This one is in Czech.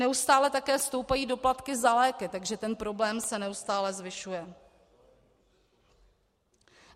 Neustále také stoupají doplatky za léky, takže ten problém se neustále zvyšuje.